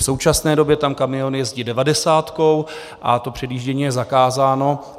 V současné době tam kamiony jezdí devadesátkou a to předjíždění je zakázáno.